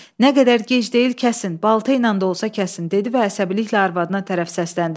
Nə qədər gec deyil kəsin, balta ilə də olsa kəsin dedi və əsəbiliklə arvadına tərəf səsləndi.